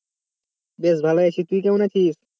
বেশ ভালই আছি তুই কেমন আছিস?